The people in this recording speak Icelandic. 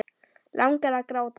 Langar að gráta.